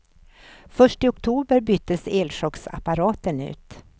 Först i oktober byttes elchocksapparaten ut.